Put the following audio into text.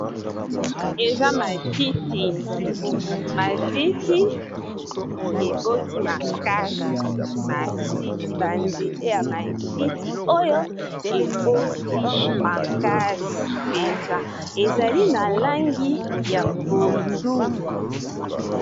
Eza matiti, matiti eboti makasi matiti ba nzete ya matiti oyo eboti makasi mpenza ezali na langi ya pondu.